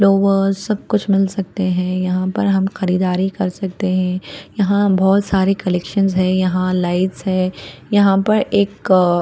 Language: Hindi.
लोगों सब कुछ मिल सकते है यहाँ पर हम खरीदारी कर सकते है यहाँ बहुत सारे कलेकशन्स है यहाँ लाइट्स है यहाँ पर एक--